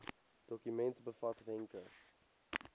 dokument bevat wenke